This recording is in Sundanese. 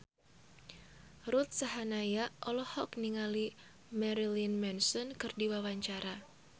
Ruth Sahanaya olohok ningali Marilyn Manson keur diwawancara